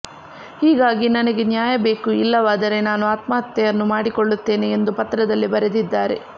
ಹೀಗಾಗಿ ನನಗೆ ನ್ಯಾಯಬೇಕು ಇಲ್ಲವಾದರೆ ನಾನು ಆತ್ಮಹತ್ಯೆಯನ್ನು ಮಾಡಿಕೊಳ್ಳುತ್ತೇನೆ ಎಂದು ಪತ್ರದಲ್ಲಿ ಬರೆದಿದ್ದಾರೆ